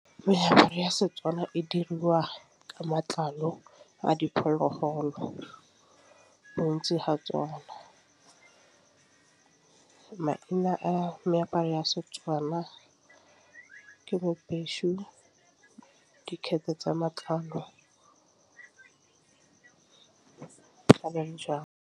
Meaparo ya Setswana e diriwa ka matlalo a diphologolo bontsi ga tsona. Maina a meaparo ya Setswana ke bo tsa matlalo ka .